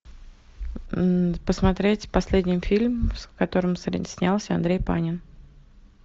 посмотреть последний фильм в котором снялся андрей панин